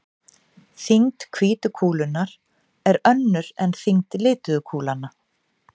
Þyngd hvítu kúlunnar er önnur en þyngd lituðu kúlnanna.